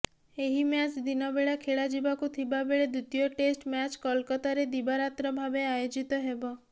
ଏହି ମ୍ୟାଚ୍ ଦିନବେଳା ଖେଳାଯିବାକୁ ଥିବା ବେଳେ ଦ୍ବିତୀୟ ଟେଷ୍ଟ ମ୍ୟାଚ୍ କଲକାତାରେ ଦିବାରାତ୍ର ଭାବେ ଆୟୋଜିତ ହେବ